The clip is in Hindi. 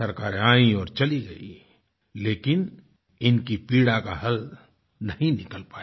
सरकारें आईं और चली गईं लेकिन इनकी पीड़ा का हल नहीं निकल पाया